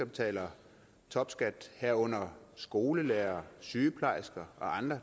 betaler topskat herunder skolelærere sygeplejersker og andre